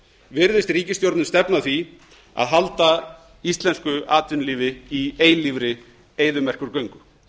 virðist ríkisstjórnin stefna að því að halda íslensku atvinnulífi í eilífri eyðimerkurgöngu